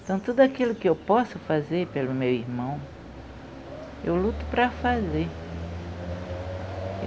Então, tudo aquilo que eu posso fazer pelo meu irmão, eu luto para fazer.